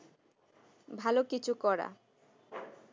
ভালো কিছু করা